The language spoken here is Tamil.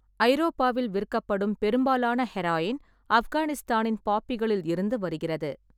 ஐரோப்பாவில் விற்கப்படும் பெரும்பாலான ஹெராயின் ஆப்கானிஸ்தானின் பாப்பிகளில் இருந்து வருகிறது.